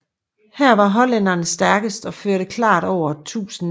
Her var hollænderne stærkest og førte klart efter 1000 m